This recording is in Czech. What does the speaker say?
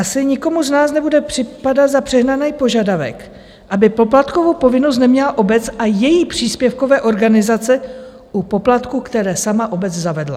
Asi nikomu z nás nebude připadat za přehnaný požadavek, aby poplatkovou povinnost neměla obec a její příspěvkové organizace u poplatků, které sama obec zavedla.